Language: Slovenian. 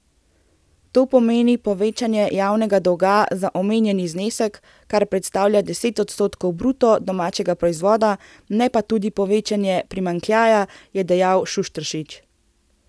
To pomeni povečanje javnega dolga za omenjeni znesek, kar predstavlja deset odstotkov bruto domačega proizvoda, ne pa tudi povečanja primanjkljaja, je dejal Šušteršič.